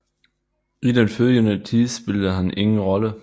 I den følgende tid spillede han ingen rolle